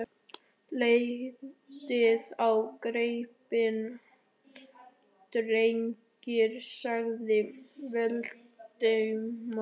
Lítið á gripina, drengir! sagði Valdimar.